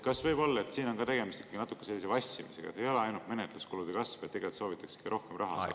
Kas võib olla, et siin on tegemist ikkagi natukene sellise vassimisega, et ei ole ainult menetluskulude kasv, vaid tegelikult soovitakse ka rohkem raha?